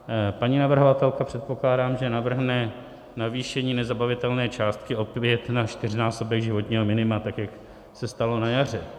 Paní navrhovatelka, předpokládám, že navrhne navýšení nezabavitelné částky opět na čtyřnásobek životního minima, tak jak se stalo na jaře.